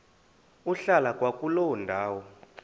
ukuhlala kwakuloo ndawo